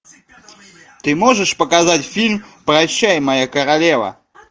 ты можешь показать фильм прощай моя королева